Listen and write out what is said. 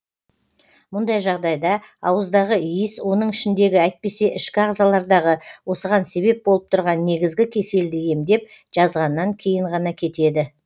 мұндай жағдайда ауыздағы иіс оның ішіндегі әйтпесе ішкі ағзалардағы осыған себеп болып тұрған негізгі кеселді емдеп жазғаннан кейін ғана кетеді